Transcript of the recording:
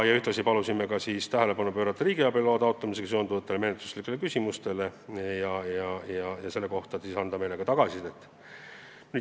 Ühtlasi palusime tähelepanu pöörata riigiabi loa taotlemisega seonduvatele menetluslikele küsimustele ja selle kohta anda meile ka tagasisidet.